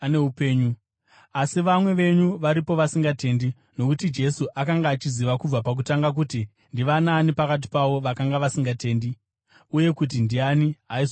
Asi vamwe venyu varipo vasingatendi.” Nokuti Jesu akanga achiziva kubva pakutanga kuti ndivanaani pakati pavo vakanga vasingatendi uye kuti ndiani aizomupandukira.